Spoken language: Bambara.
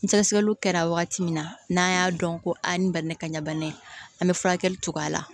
Ni sɛgɛsɛgɛliw kɛra wagati min na n'an y'a dɔn ko a ni ba ni ka ɲabana ye an bɛ furakɛli cogoya la